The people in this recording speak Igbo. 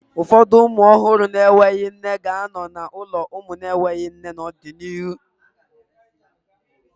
Ụfọdụ ụmụ ọhụrụ na-enweghị nne ga-anọ n'ụlọ ụmụ na-enweghị nne n'ọdịnihu